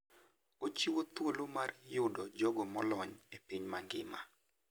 Ochiwo thuolo mar yudo jogo molony e piny mangima.